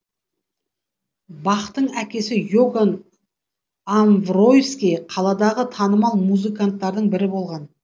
бахтың әкесі иоганн амвройский қаладағы танымал музыканттардың бірі болған